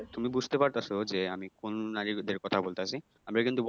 তুমি বুঝতে পারতাছ যে আমি কোন নারীদের কথা বলতাছি? আমরা কিন্তু